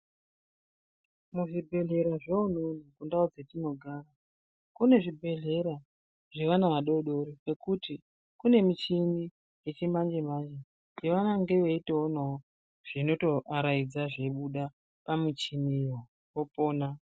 Muzvibhehlera zveunono kundau dzetinogara kune zvibhedhlera zvevana vadadidori zvekuti kune michini yechimanjemanje avanenge veitoonawo zvinotoaraidza zvinenge zveibuda pamuchiniwo opona.